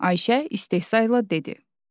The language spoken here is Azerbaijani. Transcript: Ayşə istehza ilə dedi.